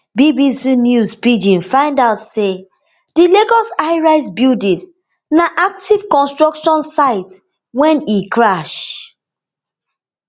bbc news pidgin find out say di lagos highrisebuilding na active construction site wen e crash